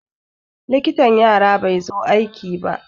Likitan yara bai zo aiki ba.